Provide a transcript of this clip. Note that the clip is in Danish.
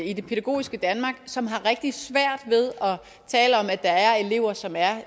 i det pædagogiske danmark som har rigtig svært ved at tale om at der er elever som er